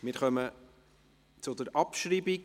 Wir kommen zur Abschreibung.